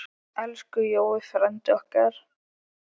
Elsku Jói frændi okkar.